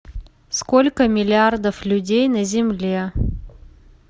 сколько миллиардов людей на земле